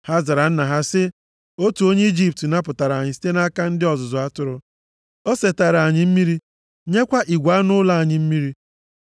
Ha zara nna ha sị, “Otu onye Ijipt napụtara anyị site nʼaka ndị ọzụzụ atụrụ. O setaara anyị mmiri, nyekwa igwe anụ ụlọ anyị mmiri.”